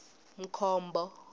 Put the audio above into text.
mkhombo